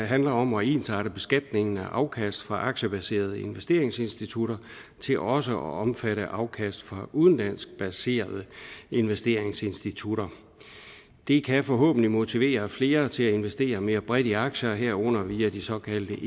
handler om at ensarte beskatningen af afkast fra aktiebaserede investeringsinstitutter til også at omfatte afkast fra udenlandsk baserede investeringsinstitutter det kan forhåbentlig motivere flere til at investere mere bredt i aktier herunder via de såkaldte